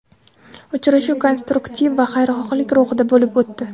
Uchrashuv konstruktiv va xayrixohlik ruhida bo‘lib o‘tdi.